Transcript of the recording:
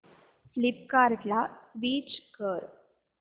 फ्लिपकार्टं ला स्विच कर